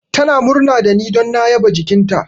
Tana murna da ni don na yaba jikinta.